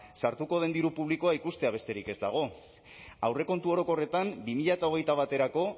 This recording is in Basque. sartuko den diru publikoa ikustea besterik ez dago aurrekontu orokorretan bi mila hogeita baterako